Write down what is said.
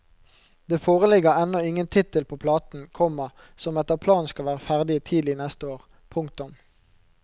Det foreligger ennå ingen tittel på platen, komma som etter planen skal være ferdig tidlig neste år. punktum